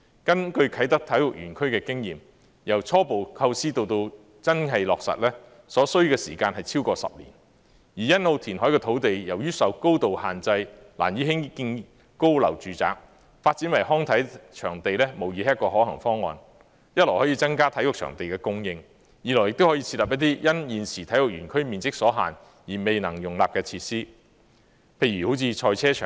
根據啟德體育園區的經驗，由初步構思至最終落實，所需時間超過10年，而欣澳填海的土地由於受高度限制，難以興建高樓住宅，發展為康體場地無疑是一個可行方案，一來可增加體育場地的供應，二來亦可設立一些因現時體育園區面積所限而未能容納的設施，譬如賽車場。